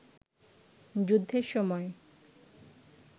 যুদ্ধের সময়